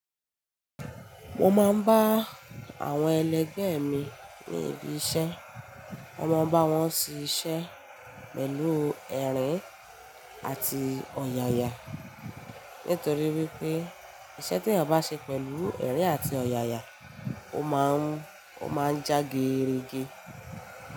Mo máa ń bá àwọn ẹlẹgbẹ́ mi ní ibi iṣẹ́, mo ma n bá wọn ṣe iṣẹ́ pẹ̀lú ẹ̀rín àti ọ̀yàyà. Nítorí wípé iṣẹ́ tí ẹ̀ bá ṣe pẹ̀lú ẹ̀rín àti ọ̀yàyà, ó má ń, ó má ń já geerege.